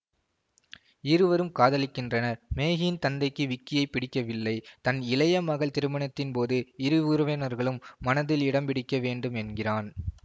இருவரும் காதலிக்கின்றனர் மேகியின் தந்தைக்கு விக்கியை பிடிக்கவில்லை தன் இளைய மகள் திருமணத்தின்போது இரு உறவினர்கள் மனதில் இடம்பிடிக்க வேண்டும் என்கிறான்